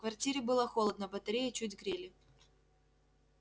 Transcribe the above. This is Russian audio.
в квартире было холодно батареи чуть грели